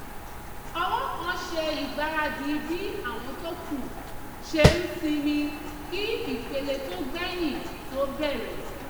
ọ̀wọ́ kan ṣe ìgbaradì bí àwọn tó kù ṣe ń sinmi kí ìpele tó gbẹ̀yìn tó bẹ̀rẹ̀